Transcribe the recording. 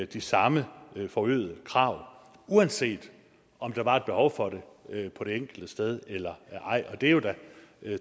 de samme forøgede krav uanset om der var et behov for det på det enkelte sted eller ej og det er jo da